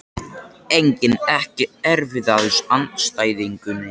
Engin EKKI erfiðasti andstæðingur?